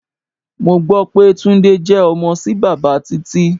Mo gbó pé Túndé jẹ ọmọ sí bàbá Títí.